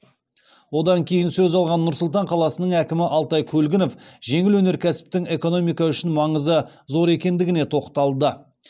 одан кейін сөз алған нұр сұлтан қаласының әкімі алтай көлгінов жеңіл өнеркәсіптің экономика үшін маңызы зор екендігіне тоқталды